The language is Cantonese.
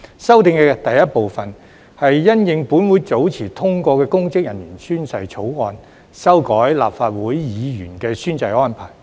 修訂的第一部分，是因應本會早前通過的公職人員宣誓法案，修改立法會議員的宣誓安排。